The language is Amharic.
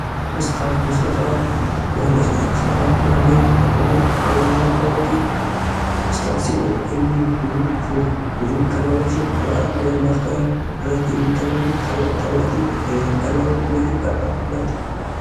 የአገራት አባቶች የህዝባቸውን ተስፋና ህልም በመምራት፣ መከራን በማሳለፍና ብሩህ የወደፊት ጊዜን በመፍጠር ይታወቃሉ።